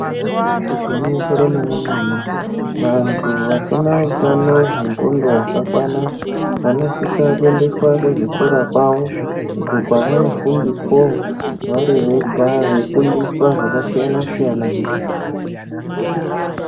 Igwinyiso remenemene vantu vasina utano hwenxondo hwakakwana vanosisa kuendeswa kuzvikora kwavo uko kwavanofundiswawo vari vega veifundiswa zvakasiyana siyana.